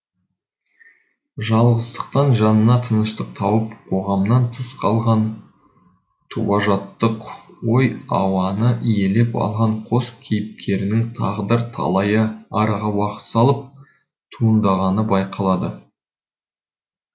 жалғыздықтан жанына тыныштық тауып қоғамнан тыс қалған туажаттық ой ауаны иелеп алған қос кейіпкерінің тағдыр талайы араға уақыт салып туындағаны байқалады